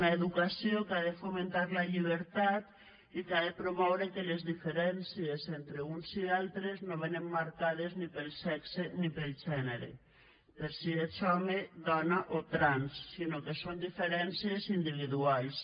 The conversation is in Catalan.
una educació que ha de fomentar la llibertat i que ha de promoure que les diferències entre uns i altres no venen marcades ni pel sexe ni pel gènere per si ets home dona o trans sinó que són diferències individuals